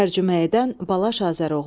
Tərcümə edən: Balaş Azəroğlu.